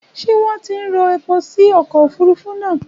Ṣé wọ́n ti ń rọ epo sí ọkọ̀ òfurufú náà?